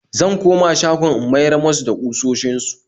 Zan koma shagon in miyar musu da kusoshin su